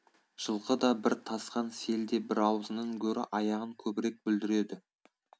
жылқы да бір тасқан сел де бір аузынан гөрі аяғын көбірек бүлдіреді